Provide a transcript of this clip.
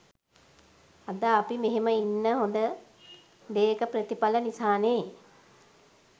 අද අපි මෙහෙම ඉන්න හොඳ දේක ප්‍රතිපල නිසානේ